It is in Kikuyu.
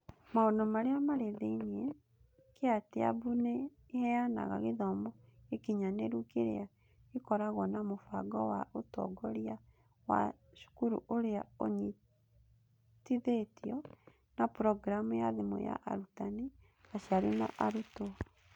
Maũndũ Marĩa Marĩ Thĩinĩ: Kytabu nĩ ĩheanaga gĩthomo gĩkinyanĩru kĩrĩa gĩkoragwo na mũbango wa ũtongoria wa cukuru ũrĩa ũnyitithĩtio na programu ya thimũ ya arutani, aciari na arutwo.